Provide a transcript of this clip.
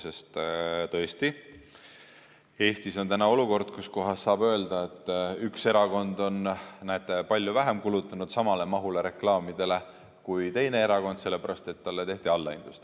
Sest tõesti, Eestis on täna olukord, kus saab öelda, et üks erakond on, näete, palju vähem kulutanud samale mahule reklaamidele kui teine erakond, sellepärast et talle tehti allahindlust.